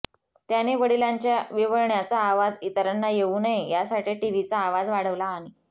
त्याने वडिलांच्या विव्हळण्याचा आवाज इतरांना येऊ नये यासाठी टीव्हीचा आवाज वाढवला आणि